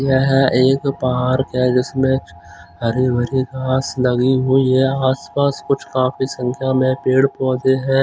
यह एक पार्क है जिसमें हरी भरी घास लगी हुई है आस पास कुछ काफी संख्या में पेड़ पौधे हैं।